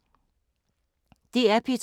DR P2